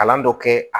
Kalan dɔ kɛ